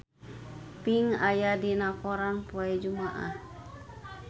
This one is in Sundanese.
Pink aya dina koran poe Jumaah